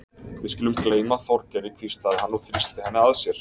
Við skulum gleyma Þorgeiri hvíslaði hann og þrýsti henni að sér.